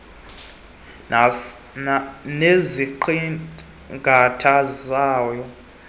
oqhelekileyo nesiqingatha sawo